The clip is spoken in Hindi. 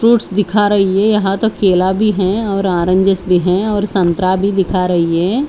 फ्रूट्स दिखा रही हैं यहाँ तक केला भी हैं और ऑरेंजस भी हैं और संतरा भी दिखा रही हैं।